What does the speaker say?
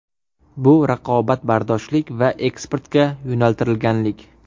Bu raqobatbardoshlik va eksportga yo‘naltirilganlik.